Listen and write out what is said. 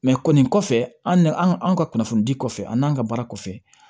kɔni kɔfɛ an nan an ka kunnafonidi kɔfɛ an n'an ka baara kɔfɛ